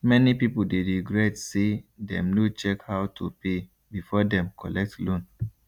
many people dey regret say dem no check how to pay before dem collect loan